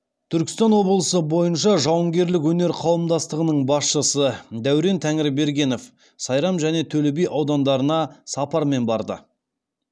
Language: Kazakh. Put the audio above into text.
түркістан облысы бойынша жауынгерлік өнер қауымдастығының басшысы дәурен тәңірбергенов сайрам және төлеби аудандарына сапармен барды